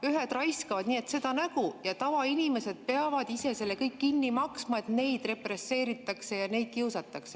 Ühed raiskavad nii, et seda nägu, ja tavainimesed peavad selle ise kõik kinni maksma, et neid represseeritakse ja kiusatakse.